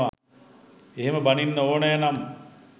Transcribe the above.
එහෙම බණින්න ඕනේනම්